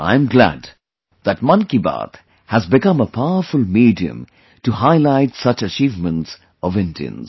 I am glad that 'Mann Ki Baat' has become a powerful medium to highlight such achievements of Indians